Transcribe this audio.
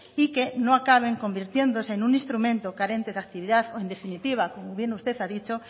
y que no acaben convirtiéndose en un instrumento carente de actividad o en definitiva como bien usted ha dicho